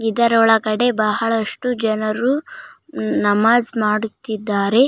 ಇದರ ಒಳಗಡೆ ಬಹಳಷ್ಟು ಜನರು ನಮಾಜ್ ಮಾಡುತ್ತಿದ್ದಾರೆ .